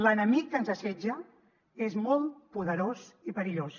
l’enemic que ens assetja és molt poderós i perillós